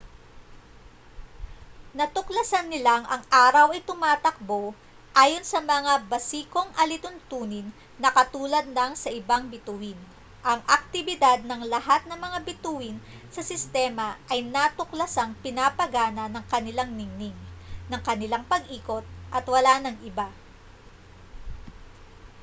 natuklasan nilang ang araw ay tumatakbo ayon sa mga basikong alituntunin na katulad ng sa ibang bituin ang aktibidad ng lahat ng mga bituin sa sistema ay natuklasang pinapagana ng kanilang ningning ng kanilang pag-ikot at wala nang iba